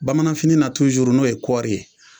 Bamananfini tuzuru n'o ye kɔri ye